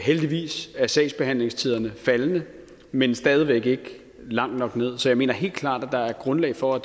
heldigvis er sagsbehandlingstiderne faldende men stadig væk ikke langt nok nederst så jeg mener helt klart at der er grundlag for at